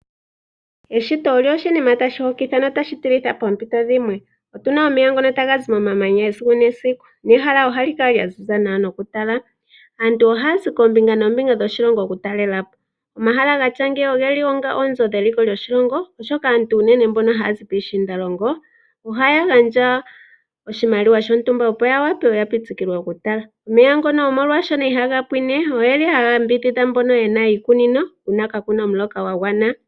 Eshito olyo oshinima tashi hokitha notashi tilitha poompito dhimwe. Otu na omeya ngono taga zi momamanya esiku nesiku nehala ohali kala lya ziza nawa nokutala. Aantu ohaya zi koombinga noombinga dhoshilongo taye ya okutalela po. Omahala gatya ngeyi oge li oonzo dheliko lyoshilongo, oshoka aantu mboka unene haya zi piishiindalongo ohaya gandja oshimaliwa shontumba, opo ya wape ya pitikilwe mo okutala. Omeya ngono oshoka ihaga pwine ohaga yambidhidha mbono ye na iikunino uuna kaaku na omuloka gwa gwana.